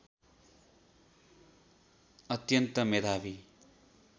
अत्यन्त मेधावी